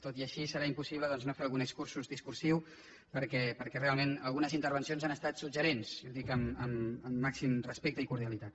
tot i així serà impossible doncs no fer algun excurs discursiu perquè realment algunes intervencions han estat suggeridores i ho dic amb el màxim respecte i cordialitat